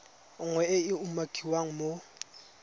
nngwe e e umakiwang mo